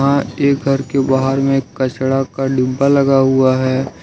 वहां एक घर के बाहर में कचरा का डिब्बा लगा हुआ है।